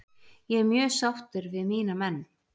Ég er mjög sáttur við mína menn.